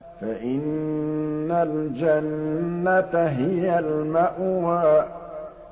فَإِنَّ الْجَنَّةَ هِيَ الْمَأْوَىٰ